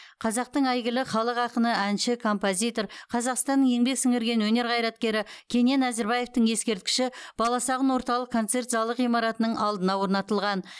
қазақтың әйгілі халық ақыны әнші композитор қазақстанның еңбек сіңірген өнер қайраткері кенен әзірбаевтың ескерткіші баласағұн орталық концерт залы ғимаратының алдына орнатылған